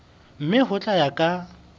mme ho tla ya ka